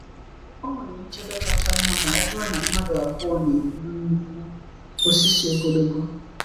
O nwere nchebe kacha mma ma ọ bụrụ na mmadụ abụọ na-eburu nnukwu osisi ogologo.